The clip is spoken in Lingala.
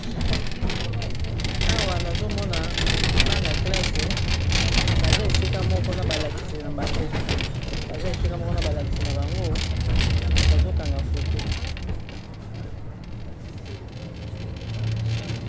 Awa, nazo mona bana classe baza esika moko na ba lakisi na bango. Baza esika moko na balakisi na bango. Bazo kanga foto.